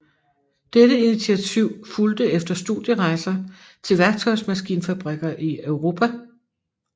Dette intiativ fulgte efter studierejser til værktøjsmaskinfabrikker i Europa